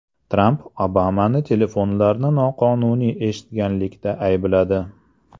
Tramp Obamani telefonlarni noqonuniy eshitganlikda aybladi.